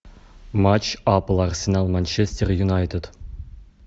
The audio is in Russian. матч апл арсенал манчестер юнайтед